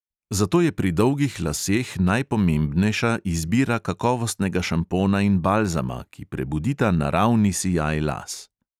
Zato je pri dolgih laseh najpomembnejša izbira kakovostnega šampona in balzama, ki prebudita naravni sijaj las.